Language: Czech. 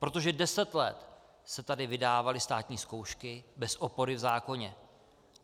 Protože deset let se tady vydávaly státní zkoušky bez opory v zákoně.